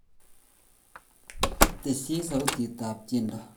Teshi sautitab tyendo